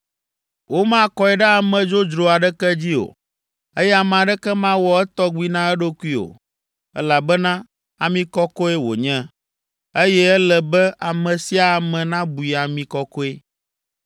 Womakɔe ɖe ame dzodzro aɖeke dzi o, eye ame aɖeke mawɔ etɔgbi na eɖokui o, elabena ami kɔkɔe wònye, eye ele be ame sia ame nabui ami kɔkɔe.